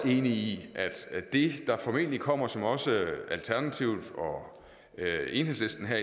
i at det der formentlig kommer og som også alternativet og enhedslisten har